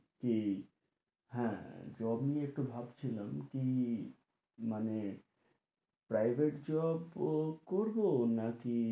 কী হ্যাঁ job নিয়ে একটু ভাবছিলাম কী মানে privet job করবো না কি